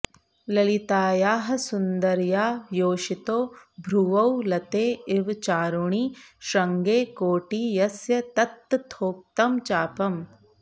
ललितायाः सुन्दर्या योषितो भ्रुवौ लते इव चारुणी श्रृङ्गे कोटी यस्य तत्तथोक्तं चापम्